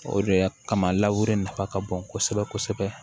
O de y'a kama raweri nafa ka bon kosɛbɛ kosɛbɛ